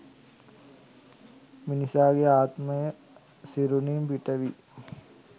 මිනිසාගේ ආත්මය සිරුරින් පිටවී